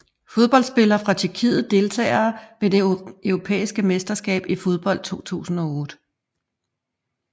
Fodboldspillere fra Tjekkiet Deltagere ved det europæiske mesterskab i fodbold 2008